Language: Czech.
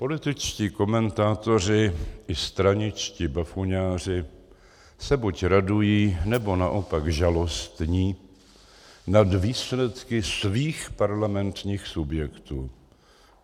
Političtí komentátoři i straničtí bafuňáři se buď radují, nebo naopak žalostní nad výsledky svých parlamentních subjektů.